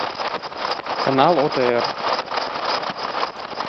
канал отр